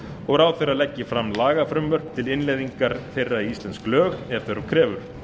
og ráðherra leggi fram lagafrumvörp til innleiðingar þeirra í íslensk lög ef þörf krefur